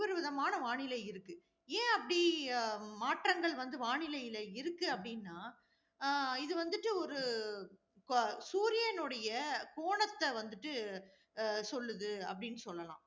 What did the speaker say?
ஒவ்வொரு விதமான வானிலை இருக்கு. ஏன் அப்படி அஹ் மாற்றங்கள் வந்து வானிலைல இருக்கு அப்படினா ஆஹ் இது வந்துட்டு ஒரு அஹ் சூரியனுடைய கோணத்தை வந்துட்டு அஹ் சொல்லுது, அப்படின்னு சொல்லலாம்.